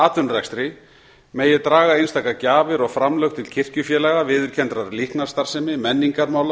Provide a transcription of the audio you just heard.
atvinnurekstri megi draga einstakar gjafir og framlög til kirkjufélaga viðurkenndrar líknarstarfsemi menningarmála